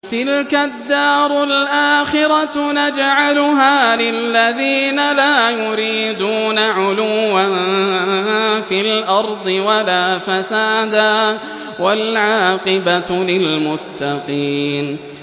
تِلْكَ الدَّارُ الْآخِرَةُ نَجْعَلُهَا لِلَّذِينَ لَا يُرِيدُونَ عُلُوًّا فِي الْأَرْضِ وَلَا فَسَادًا ۚ وَالْعَاقِبَةُ لِلْمُتَّقِينَ